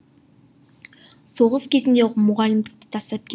соғыс кезінде мұғалімдікті тастап кет